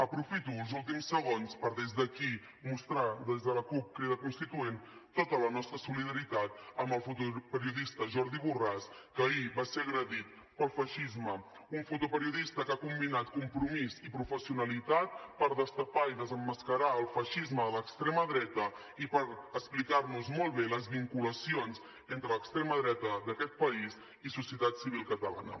aprofito els últims segons per des d’aquí mostrar des de la cup crida constituent tota la nostra solidaritat amb el fotoperiodista jordi borràs que ahir va ser agredit pel feixisme un fotoperiodista que ha combinat compromís i professionalitat per destapar i desemmascarar el feixisme de l’extrema dreta i per explicar nos molt bé les vinculacions entre l’extrema dreta d’aquest país i societat civil catalana